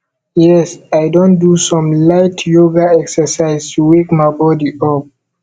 yes i don do some light yoga exercise to wake my body up